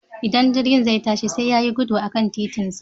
Idan jirgi zai ta shi sai ya yi gudu a kan titinsa.